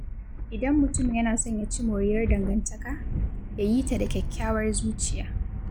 Idan mutum yana son ya ci moriyar dangantaka, ya yita da kyakkyawar zuciya.